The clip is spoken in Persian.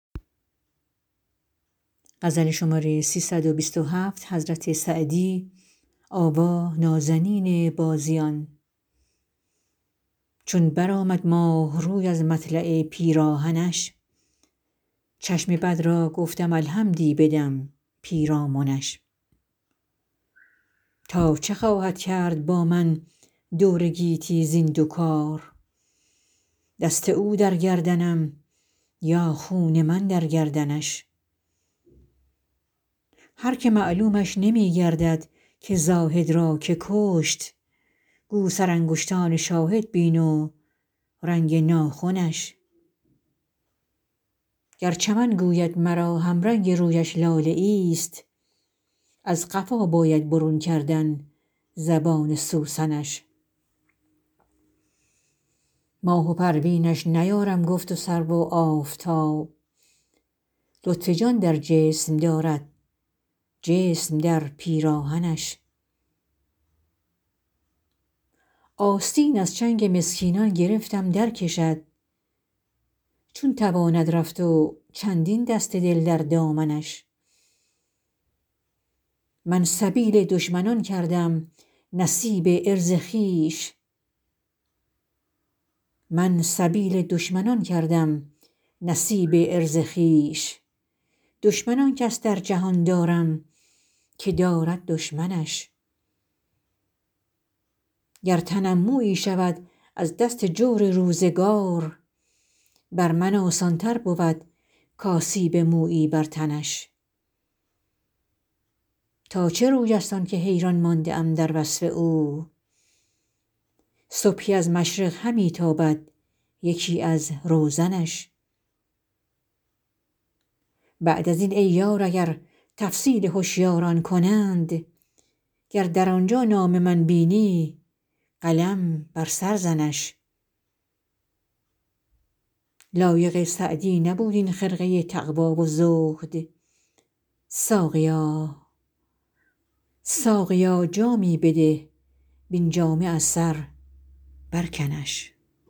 چون برآمد ماه روی از مطلع پیراهنش چشم بد را گفتم الحمدی بدم پیرامنش تا چه خواهد کرد با من دور گیتی زین دو کار دست او در گردنم یا خون من در گردنش هر که معلومش نمی گردد که زاهد را که کشت گو سرانگشتان شاهد بین و رنگ ناخنش گر چمن گوید مرا همرنگ رویش لاله ایست از قفا باید برون کردن زبان سوسنش ماه و پروینش نیارم گفت و سرو و آفتاب لطف جان در جسم دارد جسم در پیراهنش آستین از چنگ مسکینان گرفتم درکشد چون تواند رفت و چندین دست دل در دامنش من سبیل دشمنان کردم نصیب عرض خویش دشمن آن کس در جهان دارم که دارد دشمنش گر تنم مویی شود از دست جور روزگار بر من آسان تر بود کآسیب مویی بر تنش تا چه روی است آن که حیران مانده ام در وصف او صبحی از مشرق همی تابد یکی از روزنش بعد از این ای یار اگر تفصیل هشیاران کنند گر در آنجا نام من بینی قلم بر سر زنش لایق سعدی نبود این خرقه تقوا و زهد ساقیا جامی بده وین جامه از سر برکنش